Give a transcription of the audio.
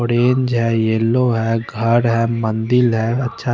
orange हैं yellow हैं घर हैं मंदिर हैं अच्छा--